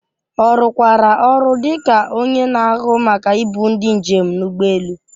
Ọ rụkwara ọrụ dị ka onye na-ahụ maka ibu ndi njem n’ụgbọ elu.